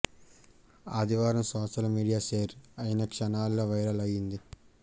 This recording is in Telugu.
ఆదివారం సోషల్ మీడియా షేర్ అయిన క్షణాల్లో వైరల్ అయిది